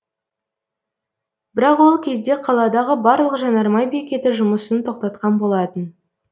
бірақ ол кезде қаладағы барлық жанармай бекеті жұмысын тоқтатқан болатын